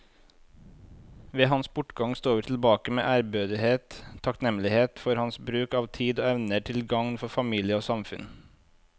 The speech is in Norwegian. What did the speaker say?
Ved hans bortgang står vi tilbake med ærbødighet og takknemlighet for hans bruk av tid og evner til gagn for familie og samfunn.